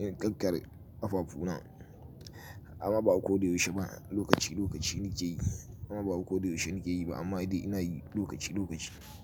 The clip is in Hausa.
in ƙarƙare afafu na amma ba ko da yaushe ba lokaci lokaci nike yi amma ba ko da yaushe nike yi ba amma dai ina yi lokaci lokaci.